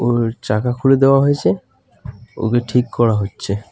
ওর চাকা খুলে দেওয়া হয়েছে ওকে ঠিক করা হচ্ছে.